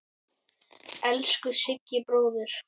Elsku Siggi bróðir.